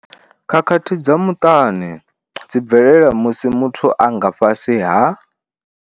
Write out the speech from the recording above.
Khakhathi dza muṱani dzi bvelela musi muthu a nga fhasi ha.